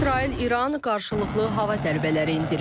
İsrail İran qarşılıqlı hava zərbələri endirir.